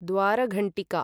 द्वारघण्ठिका